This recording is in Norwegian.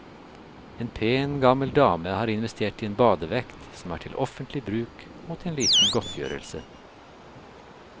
En pen gammel dame har investert i en badevekt, som er til offentlig bruk mot en liten godtgjørelse.